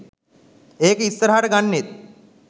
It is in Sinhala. ඒකට ඉස්සරහට ගන්නෙත්